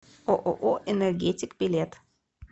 ооо энергетик билет